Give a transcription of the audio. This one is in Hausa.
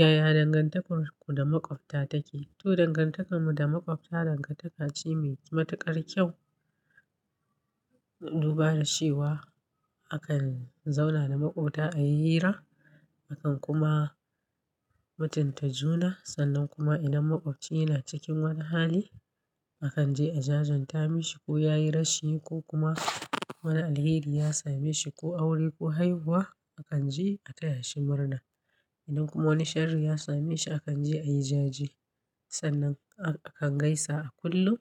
Yaya dangantakarku da maƙwabta take? To, dangantakarmu da maƙwabta dangantaka ce mai matuƙar kyau. Duba da cewa akan zauna da maƙwabta a yira, akan kuma mutunta juna. Sannan kuma idan maƙwabci yana cikin wani hali, akan je a jajen ta mishi ko ya yi rashi ko kuma wani alheri ya same shi, ko aure ko haihuwa, akan je a taya shi murna. Idan kuma wani sharri ya same shi, akan je a yi jaje. Sannan akan gaisa a kullum